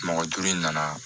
Mɔgɔ duuru in nana